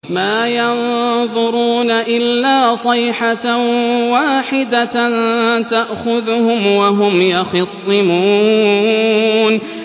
مَا يَنظُرُونَ إِلَّا صَيْحَةً وَاحِدَةً تَأْخُذُهُمْ وَهُمْ يَخِصِّمُونَ